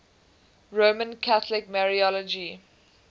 roman catholic mariology